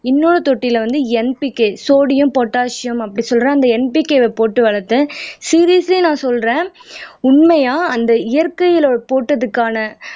இன்னொரு தொட்டியில வந்து NPK சோடியம் பொட்டாசியம் அப்படி சொல்ற அந்த NPK வ போட்டு வளர்த்தேன் சீரியஸ்லி நான் சொல்றேன் உண்மையா அந்த இயற்கையில போட்டதுக்கான